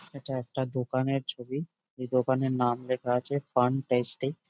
এটা একটা দোকানের ছবি। এই দোকানের নাম লেখা আছে ফান টেস্টি ।